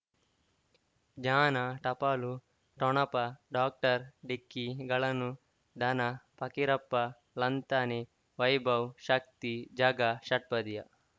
ಜ್ಞಾನ ಟಪಾಲು ಠೊಣಪ ಡಾಕ್ಟರ್ ಢಿಕ್ಕಿ ಗಳನು ಧನ ಫಕೀರಪ್ಪ ಳಂತಾನೆ ವೈಭವ್ ಶಕ್ತಿ ಝಗಾ ಷಟ್ಪದಿಯ